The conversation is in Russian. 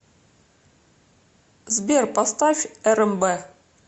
сбер поставь эрэмбэ